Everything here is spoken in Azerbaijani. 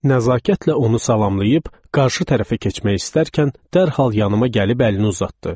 Nəzakətlə onu salamlayaq, qarşı tərəfə keçmək istərkən dərhal yanıma gəlib əlini uzatdı.